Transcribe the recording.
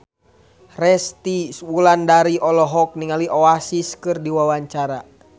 Resty Wulandari olohok ningali Oasis keur diwawancara